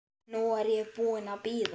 Nú er ég búin að bíða.